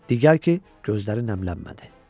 Deyərdi ki, gözləri nəmlənmədi.